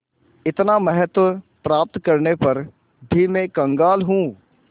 इतना महत्व प्राप्त करने पर भी मैं कंगाल हूँ